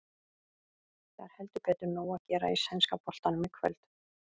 Það er heldur betur nóg að gera í sænska boltanum í kvöld.